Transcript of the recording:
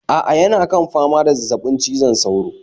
A'a yana kan fama da zazzabin cizon sauro